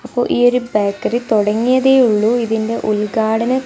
അപ്പോ ഈ ഒരു ബേക്കറി തുടങ്ങിതെ ഉള്ളു ഇതിന്റെ ഉദ്ഘാടനം--